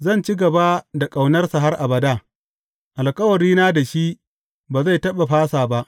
Zan ci gaba da ƙaunarsa har abada, alkawarina da shi ba zai taɓa fasa ba.